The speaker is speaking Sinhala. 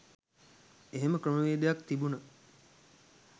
එහෙම ක්‍රමවේදයක් තිබුණ